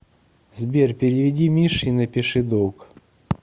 сбер переведи мише и напиши долг